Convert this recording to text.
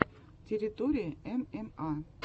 территория мма